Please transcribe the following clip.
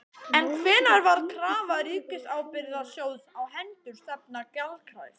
En hvenær varð krafa Ríkisábyrgðasjóðs á hendur stefnda gjaldkræf?